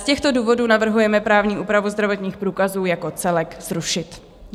Z těchto důvodů navrhujeme právní úpravu zdravotních průkazů jako celek zrušit.